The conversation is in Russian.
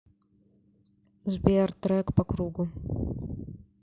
сбер трек по кругу